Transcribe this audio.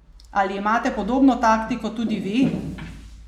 Ali imate podobno taktiko tudi vi?